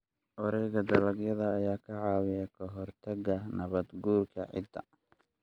Wareegga dalagga ayaa ka caawiya ka hortagga nabaad-guurka ciidda.